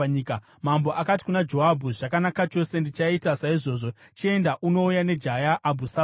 Mambo akati kuna Joabhu, “Zvakanaka chose, ndichaita saizvozvo. Chienda, unouya nejaya Abhusaromu.”